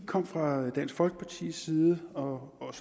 kom fra dansk folkepartis side og